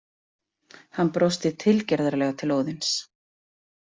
Hann brosti tilgerðarlega til Óðins.